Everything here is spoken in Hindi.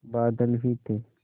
बादल ही थे